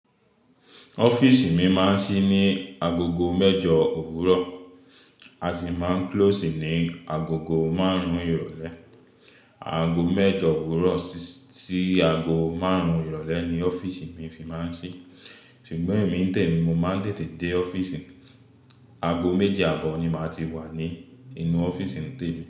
Ọ́fíìsì mi máa ń ṣí ní agogo mẹ́jọ òwúrọ̀, a sì máa ń close ní agogo márùn-ún ìrọ̀lẹ́. Ago mẹ́jọ òwúrọ̀ sí, sí ago márùn-ún ìrọ̀lẹ́ ni ọ́fíìsì mi fi máa ń ṣí. Ṣùgbọ́n èmi n tẹ̀mi mo máa ń tètè dé ọ́fíìsì, ago méje àbọ̀ ni màá ti wà ní inú ọ́fíìsì n tẹ̀mi.